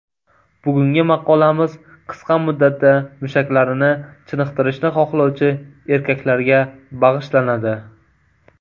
Bugungi maqolamiz qisqa muddatda mushaklarini chiniqtirishni xohlovchi erkaklarga bag‘ishlanadi.